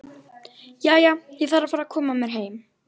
Jæja, ég þarf að fara að koma mér heim